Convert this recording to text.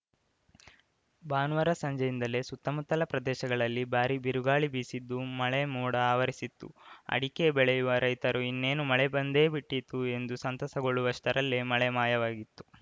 ಭಾನುವಾರ ಸಂಜೆಯಿಂದಲೇ ಸುತ್ತಮುತ್ತಲ ಪ್ರದೇಶಗಳಲ್ಲಿ ಭಾರೀ ಬಿರುಗಾಳಿ ಬೀಸಿದ್ದು ಮಳೆ ಮೋಡ ಆವರಿಸಿತ್ತು ಅಡಿಕೆ ಬೆಳೆಯುವ ರೈತರು ಇನ್ನೇನು ಮಳೆ ಬಂದೇಬಿಟ್ಟಿತು ಎಂದು ಸಂತಸಗೊಳ್ಳುವಷ್ಟರಲ್ಲೇ ಮಳೆ ಮಾಯವಾಗಿತ್ತು